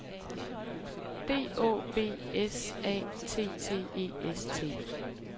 D Å B S A T T E S T